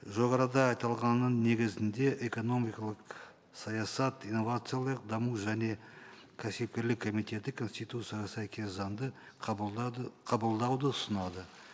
жоғарыда айтылғанның негізінде экономикалық саясат инновациялық даму және кәсіпкерлік комитеті конституцияға сәйкес заңды қабылдауды ұсынады